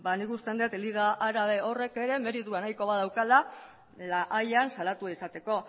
nik uste dut liga árabe horrek ere meritu nahikoa badaukala la hayan salatua izateko